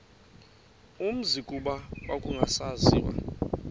umzi kuba kwakungasaziwa